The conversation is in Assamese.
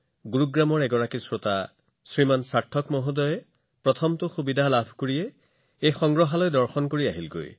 এজন শ্ৰোতা আছে শ্ৰীযুত সাৰ্থকজী সাৰ্থকজী গুৰুগ্ৰামত বাস কৰে আৰু প্ৰথম সুযোগ পোৱাৰ লগে লগে তেওঁ প্ৰধানমন্ত্ৰীৰ সংগ্ৰহালয় চাবলৈ আহিছে